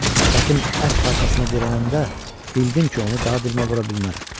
Sifətim ət parçasına dirənəndə, bildim ki, onu daha dilmə vura bilmərəm.